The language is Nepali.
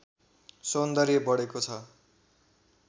सौन्दर्य बढेको छ